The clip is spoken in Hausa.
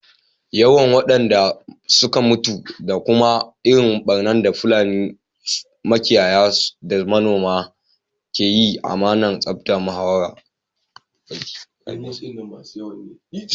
Yawan wadanda suka mutu da kuma irin barnar da Fulani makiyaya da manoma ke yi ana tafka muhawara akai.